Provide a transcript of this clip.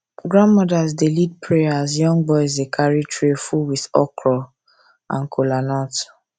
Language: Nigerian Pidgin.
grandmothers dey lead prayer as young boys dey carry tray full with okra full with okra and kolanut